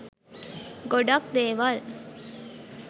ගොඩක් දේවල්